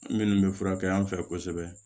Minnu bɛ furakɛ an fɛ kosɛbɛ